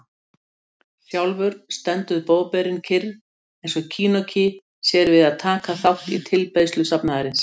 Sjálfur stendur Boðberinn kyrr, eins og kinoki sér við að taka þátt í tilbeiðslu safnaðarins.